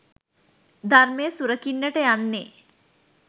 ධර්මය සුරකින්නට යන්නේ